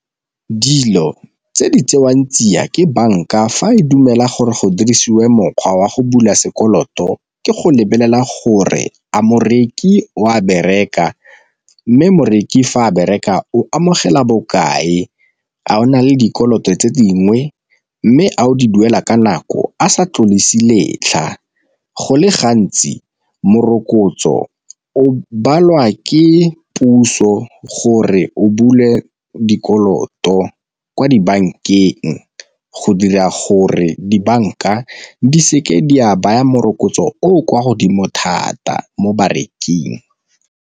Dilo tse di tsewang tsia ke banka fa e dumela gore go dirisiwa mokgwa wa go bula sekoloto ke go lebelela gore a moreki o a bereka, mme moreki fa a bereka o amogela bokae a o na le dikoloto tse dingwe, mme a o di duela ka nako a sa tlodise letlha. Go le gantsi morokotso o balwa ke puso gore re o bule dikoloto kwa dibankeng go dira gore dibanka di seke di a baya morokotso o o kwa godimo thata mo bareking.